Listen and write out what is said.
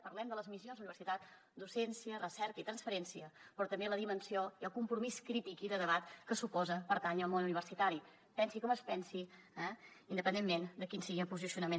parlem de les missions de la universitat docència recerca i transferència però també de la dimensió i el compromís crític i de debat que suposa pertànyer al món universitari es pensi com es pensi eh independentment de quin sigui el posicionament